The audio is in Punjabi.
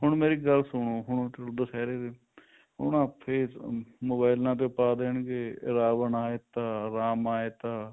ਹੁਣ ਮੇਰੀ ਇੱਕ ਗੱਲ ਸੁਣੋ ਹੁਣ ਦੁਸਹਿਰੇ ਉਹਨਾ face ਮੋਬਾਇਲਾ ਤੇ ਪਾ ਦੇਣਗੇ ਰਾਵਣ ਆਏ ਤਾਂ ਰਾਮ ਆਏ ਤਾਂ